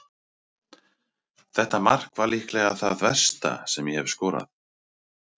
Þetta mark var líklega það versta sem ég hef skorað.